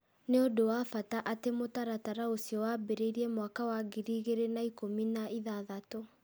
Nĩ ũndũ wa bata atĩ mũtaratara ũcio wambĩrĩirie mwaka wa ngiri igĩrĩ na ikũmi na ithathatũ .